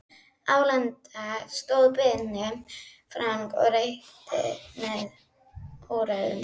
Álengdar stóð Binni Frank og reykti með óræðum svip.